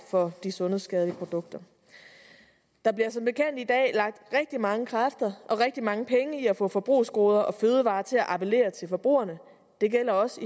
for de sundhedsskadelige produkter der bliver som bekendt i dag lagt rigtig mange kræfter og rigtig mange penge i at få forbrugsgoder og fødevarer til at appellere til forbrugerne det gælder også